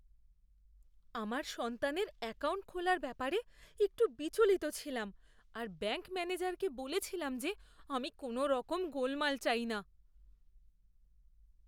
আমার সন্তানের অ্যাকাউন্ট খোলার ব্যাপারে একটু বিচলিত ছিলাম আর ব্যাঙ্ক ম্যানেজারকে বলেছিলাম যে আমি কোনওরকম গোলমাল চাই না।